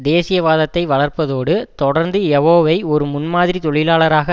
தேசியவாதத்தை வளர்ப்பதோடு தொடர்ந்து யவோவை ஒரு முன்மாதிரி தொழிலாளராக